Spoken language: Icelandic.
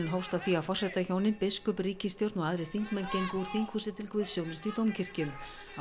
hófst á því að forsetahjónin biskup ríkisstjórn og aðrir þingmenn gengu úr þinghúsi til guðsþjónustu í dómkirkju á